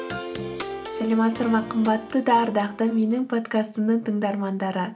сәлеметсіздер ме қымбатты да ардақты менің подкастымның тыңдармандары